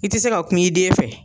I ti se ka kum'i den fɛ.